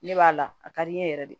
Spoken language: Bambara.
Ne b'a la a ka di n ye yɛrɛ de